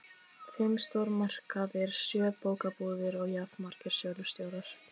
Fimm stórmarkaðir, sjö bókabúðir og jafnmargir sölustjórar.